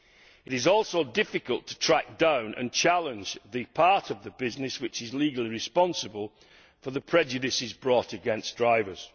It is also difficult to track down and challenge the part of the business which is legally responsible for the prejudices brought against drivers.